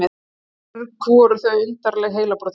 Mörg voru þau undarleg heilabrotin.